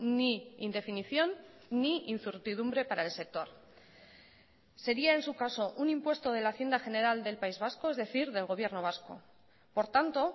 ni indefinición ni incertidumbre para el sector sería en su caso un impuesto de la hacienda general del país vasco es decir del gobierno vasco por tanto